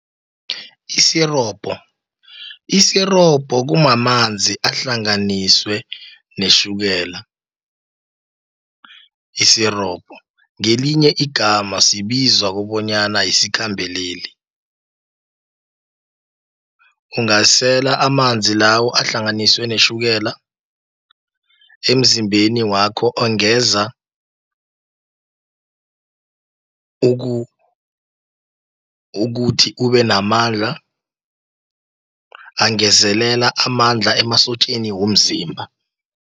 Isirobho, kumamanzi ahlanganiswe netjhukela isirobho. Ngelinye igama siyibiza kobonyana yisikhambeleli. Ungasela amanzi lawo, ahlanganiswe netjhukela, emzimbeni wakho angeza ukuthi ubenamandla, angezelela amandla emasotjeni womzimba.